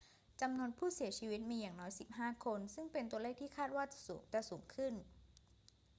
จำนวนผู้เสียชีวิตมีอย่างน้อย 15 คน ซึ่งเป็นตัวเลขที่คาดว่าจะสูงขึ้น